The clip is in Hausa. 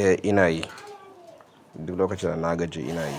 Eh ina yi. Duk lokacin da na gajiya ina yi.